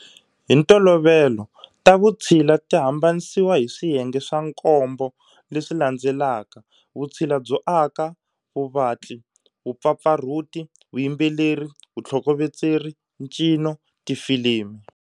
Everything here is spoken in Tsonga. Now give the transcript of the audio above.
Hintolovelo, ta vutshila ti hambanisiwa hi swiyenge swa knombo leswi landzelaka-Vutshila byo aka, Vuvatli, Vupfapfarhuti, Vuyimbeleri, Vuthlokovetseri, Ncino, Tifilimi.